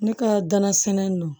Ne ka danan sinɛ nunnu